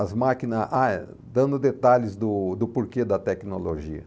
As máquinas... Ah é, dando detalhes do do porquê da tecnologia.